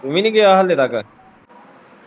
ਤੂੰ ਵੀ ਨਹੀਂ ਗਿਆ ਹਾਲੇ ਤੱਕ